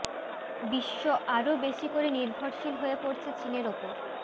বিশ্ব আরও বেশি করে নির্ভরশীল হয়ে পড়েছে চিনের উপর